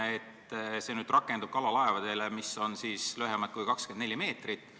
See muudatus rakendub kalalaevade suhtes, mis on lühemad kui 24 meetrit.